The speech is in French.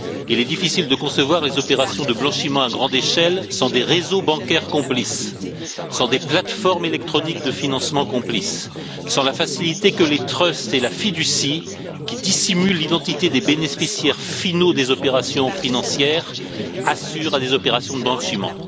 Il est difficile de concevoir des opérations de blanchiment à grande échelle sans des réseaux bancaires complices, sans des plateformes électroniques de financement complices, sans la facilité que les trusts et la fiducie, qui dissimulent l'identité des bénéficiaires finaux des opérations financières, assurent à des opérations de blanchiment.